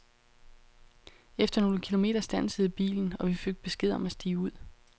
Efter nogle kilometer standsede bilen, og vi fik besked om at stige ud.